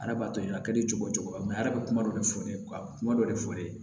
Arabatɔ ye a ka di cogo cogo a yɛrɛ bɛ kuma dɔ de fɔ ne ye ka kuma dɔ de fɔ ne ye